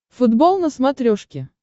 футбол на смотрешке